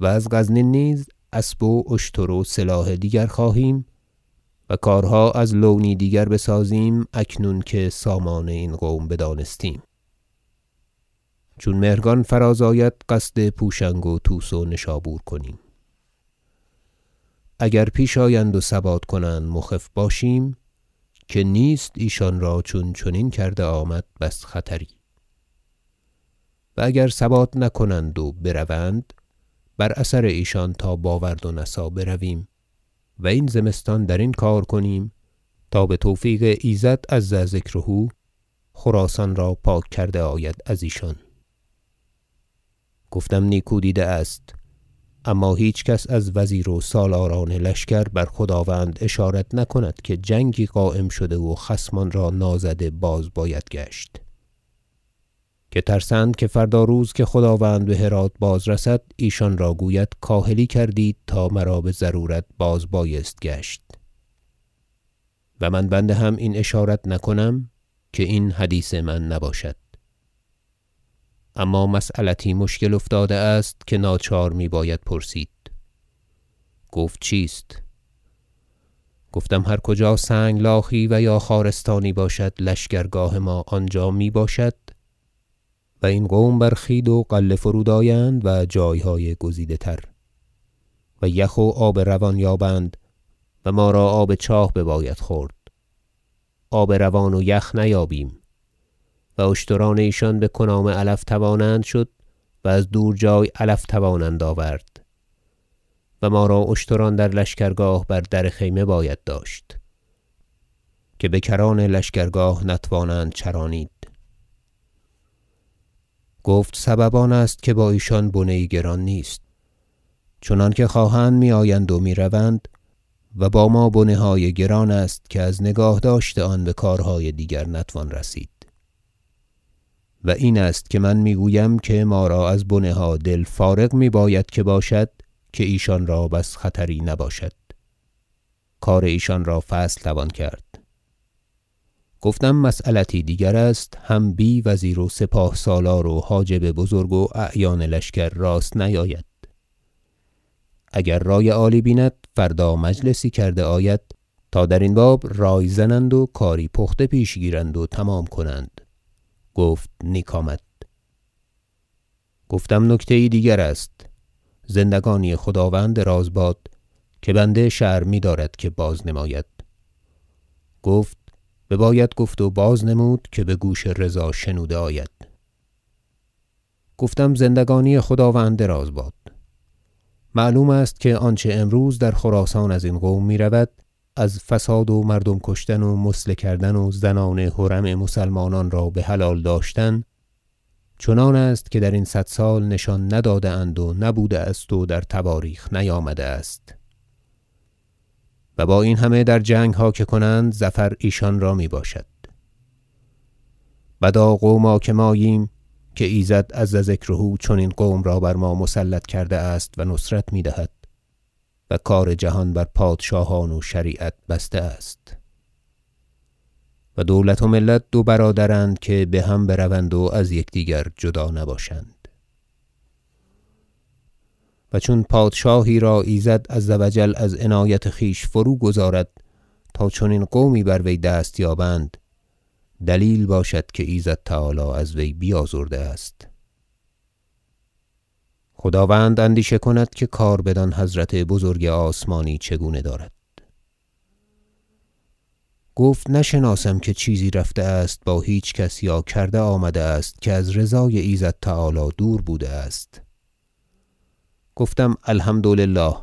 و از غزنین نیز اسب و اشتر و سلاح دیگر خواهیم و کارها از لونی دیگر بسازیم اکنون که سامان کار این قوم بدانستیم چون مهرگان فراز آید قصد پوشنگ و طوس و نشابور کنیم اگر پیش آیند و ثبات کنند مخف باشیم که نیست ایشان را چون چنین کرده آمد بس خطری و اگر ثبات نکنند و بروند بر اثر ایشان تا باورد و نسا برویم و این زمستان درین کار کنیم تا بتوفیق ایزد عز ذکره خراسان را پاک کرده آید ازیشان گفتم نیکو دیده است اما هیچ کس از وزیر و سالاران لشکر بر خداوند اشارت نکند که جنگی قایم شده و خصمان را نازده باز باید گشت که ترسند که فردا روز که خداوند بهرات بازرسد ایشان را گوید کاهلی کردید تا مرا بضرورت باز بایست گشت و من بنده هم این اشارت نکنم که این حدیث من نباشد اما مسیلتی مشکل افتاده است که ناچار میباید پرسید گفت چیست گفتم هر کجا سنگلاخی و یا خارستانی باشد لشکرگاه ما آنجا میباشد و این قوم بر خوید و غله فرود آیند و جایهای گزیده تر و یخ و آب روان یابند و ما را آب چاه بباید خورد آب روان و یخ نیابیم و اشتران ایشان به کنام علف توانند شد و از دور جای علف توانند آورد و ما را اشتران در لشکرگاه بر در خیمه باید داشت که بکران لشکرگاه نتوانند چرانید گفت سبب آنست که با ایشان بنه گران نیست چنانکه خواهند میآیند و میروند و با ما بنه های گران است که از نگاه داشت آن بکارهای دیگر نتوان رسید و این است که من میگویم که ما را از بنه ها دل فارغ می باید که باشد که ایشان را بس خطری نباشد کار ایشان را فصل توان کرد گفتم مسیلتی دیگر است هم بی وزیر و سپاه سالار و حاجب بزرگ و اعیان لشکر راست نیاید اگر رای عالی بیند فردا مجلسی کرده آید تا درین باب رای زنند و کاری پخته پیش گیرند و تمام کنند گفت نیک آمد گفتم نکته یی دیگر است زندگانی خداوند دراز باد که بنده شرم میدارد که بازنماید گفت بباید گفت و بازنمود که بگوش رضا شنوده آید گفتم زندگانی خداوند دراز باد معلوم است که آنچه امروز در خراسان ازین قوم میرود از فساد و مردم کشتن و مثله کردن و زنان حرم مسلمانان را بحلال داشتن چنان است که درین صد سال نشان نداده اند و نبوده است و در تواریخ نیامده است و با این همه در جنگها که کنند ظفر ایشان را می باشد بدا قوما که ماییم که ایزد عز ذکره چنین قوم را بر ما مسلط کرده است و نصرت میدهد و کار جهان بر پادشاهان و شریعت بسته است و دولت و ملت دو برادرند که بهم بروند و از یکدیگر جدا نباشند و چون پادشاهی را ایزد عز و جل از عنایت خویش فروگذارد تا چنین قومی بر وی دست یابند دلیل باشد که ایزد تعالی از وی بیازرده است خداوند اندیشه کند که کار بدان حضرت بزرگ آسمانی چگونه دارد گفت نشناسم که چیزی رفته است با هیچ کس یا کرده آمده است که از رضای ایزد تعالی دور بوده است گفتم الحمد- لله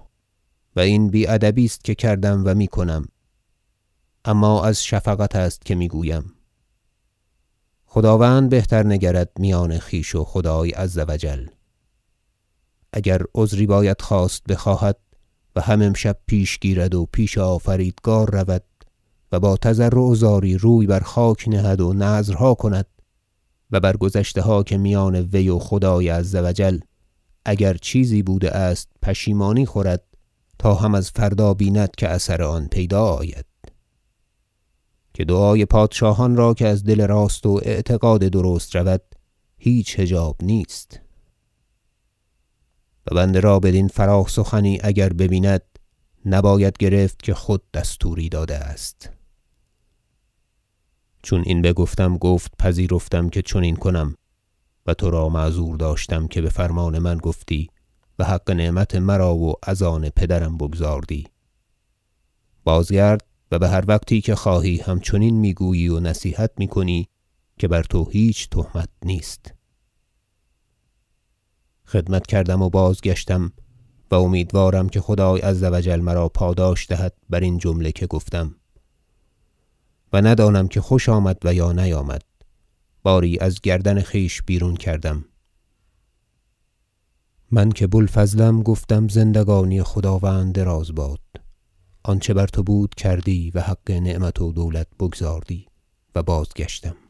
و این بی ادبی است که کردم و میکنم اما از شفقت است که میگویم خداوند بهتر بنگرد میان خویش و خدای عز و جل اگر عذری باید خواست بخواهد و هم امشب پیش گیرد و پیش آفریدگار رود با تضرع و زاری روی بر خاک نهد و نذرها کند و بر گذشته ها که میان وی و خدای عز و جل اگر چیزی بوده است پشیمانی خورد تا هم از فردا ببیند که اثر آن پیدا آید که دعای پادشاهان را که از دل راست و اعتقاد درست رود هیچ حجاب نیست و بنده را بدین فراخ سخنی اگر ببیند نباید گرفت که خود دستوری داده است چون این بگفتم گفت پذیرفتم که چنین کنم و ترا معذور داشتم که بفرمان من گفتی و حق نعمت مرا و از آن پدرم بگزاردی بازگرد و بهر وقتی که خواهی همچنین میگویی و نصیحت میکنی که بر تو هیچ تهمت نیست خدمت کردم و بازگشتم و امیدوارم که خدای عز و جل مرا پاداش دهد برین جمله که گفتم و ندانم که خوش آمد و یا نیامد باری از گردن خویش بیرون کردم من که بو الفضلم گفتم زندگانی خداوند دراز باد آنچه بر تو بود کردی و حق نعمت و دولت بگزاردی و بازگشتم